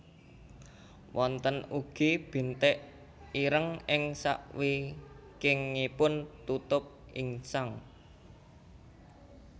Wonten ugi bintik ireng ing sakwingkingipun tutup insang